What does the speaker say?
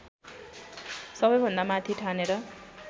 सबैभन्दा माथि ठानेर